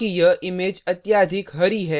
क्योंकि यह image अत्यधिक हरी है